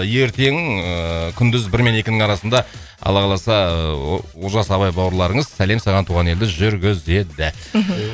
ертең ііі күндіз бір мен екінің арасында алла қаласа ыыы о олжас абай бауырларыңыз сәлем саған туған елді жүргізеді мхм